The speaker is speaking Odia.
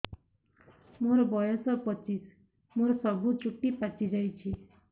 ମୋର ବୟସ ପଚିଶି ମୋର ସବୁ ଚୁଟି ପାଚି ଯାଇଛି